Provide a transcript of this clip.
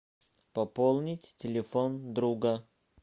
пополнить телефон друга